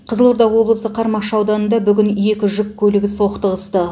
қызылорда облысы қармақшы ауданында бүгін екі жүк көлігі соқтығысты